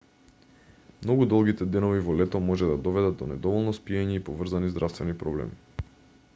многу долгите денови во лето може да доведат до недоволно спиење и поврзани здравствени проблеми